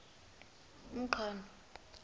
umqhano